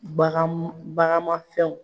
Baganmu baganmafɛnw.